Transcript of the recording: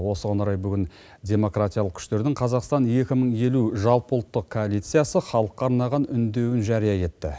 осыған орай бүгін демократиялық күштердің қазақстан екі мың елу жалпыұлттық коалициясы халыққа арналған үндеуін жария етті